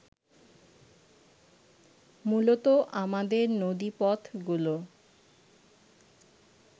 মূলত আমাদের নদীপথগুলো